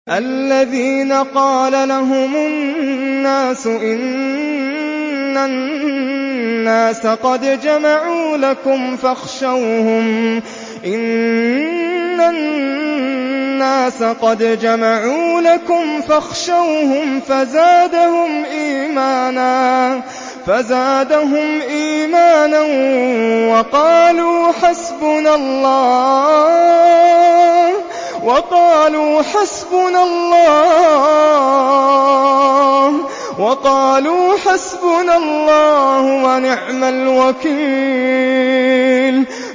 الَّذِينَ قَالَ لَهُمُ النَّاسُ إِنَّ النَّاسَ قَدْ جَمَعُوا لَكُمْ فَاخْشَوْهُمْ فَزَادَهُمْ إِيمَانًا وَقَالُوا حَسْبُنَا اللَّهُ وَنِعْمَ الْوَكِيلُ